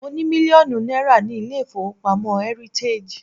Mo ní mílíọ̀nù náírà ní ilé-ìfowópamọ́ heritage.